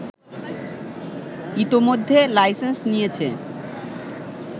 ইতোমধ্যে লাইসেন্স নিয়েছে